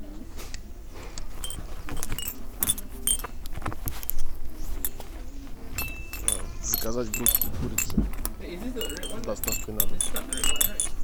заказать грудки курицы с доставкой на дом